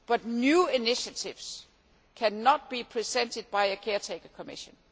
But new initiatives cannot be presented by a caretaker Commission.